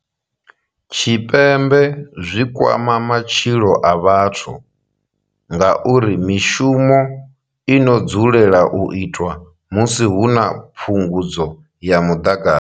Tshipembe zwi kwama matshilo a vhathu ngauri mishumo ino dzulela u itwa musi hu na phungudzo ya muḓagasi.